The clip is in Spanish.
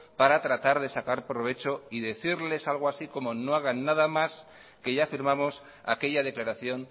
para tratar de sacar provecho y decirles algo así como que no hagan nada más que ya firmamos aquella declaración